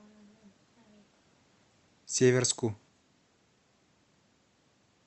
северску